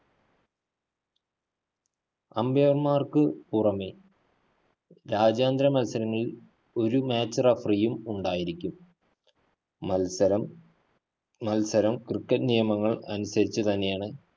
umpire മാര്‍ക്ക് പുറമെ രാജ്യാന്തര മത്സരങ്ങളില്‍ ഒരു match referee യും ഉണ്ടായിരിക്കും. മത്സരം, മത്സരം cricket നിയമങ്ങള്‍ അനുസരിച്ചു തന്നെയാണ്